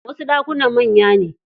Wasu ɗakunan manya ne.